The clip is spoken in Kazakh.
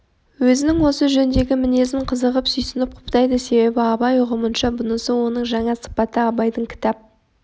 өзінің осы жөндегі мінезін қызығып сүйсініп құптайды себебі абай ұғымынша бұнысы оның жаңа сыпаты абайдың кітап